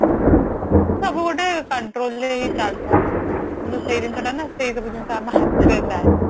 ସବୁ ଗୋଟେ control ରେ ହି ଚାଲିଥିବ better କିନ୍ତୁ ସେ ଜିନିଷ ଟା ନା ସେଇ ସବୁ ଜିନିଷ ଆମ ହାତରେ ନାହିଁ